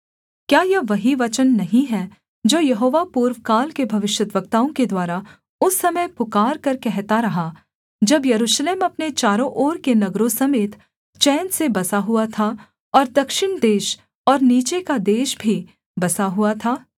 क्या यह वही वचन नहीं है जो यहोवा पूर्वकाल के भविष्यद्वक्ताओं के द्वारा उस समय पुकारकर कहता रहा जब यरूशलेम अपने चारों ओर के नगरों समेत चैन से बसा हुआ था और दक्षिण देश और नीचे का देश भी बसा हुआ था